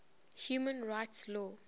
human rights law